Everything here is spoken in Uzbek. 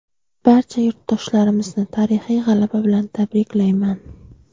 Barcha yurtdoshlarimizni tarixiy g‘alaba bilan tabriklayman!.